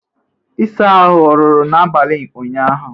ịsa ahụ ọ rụrụ n'abalị ụnyaahụ?